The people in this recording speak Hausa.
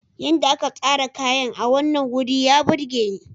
Yadda aka tsara kayan a wannan wuri ya burge ni.